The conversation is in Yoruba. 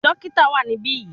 Dókítà wà níbí yìí.